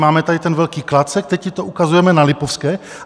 Máme tady ten velký klacek, teď ti to ukazujeme na Lipovské.